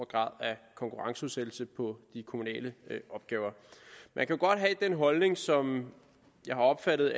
grad af konkurrenceudsættelse på de kommunale opgaver man kan godt have den holdning som jeg har opfattet